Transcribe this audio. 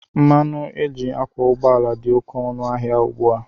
Mmanụ éjị akwọ ụgbọala dị oké ọnụ ahịa ugbua.